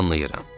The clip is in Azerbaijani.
Anlayıram.